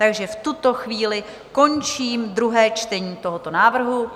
Takže v tuto chvíli končím druhé čtení tohoto návrhu.